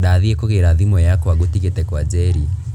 Ndathiĩ kugira thimũ yakwa ngũtigĩte kwa njeri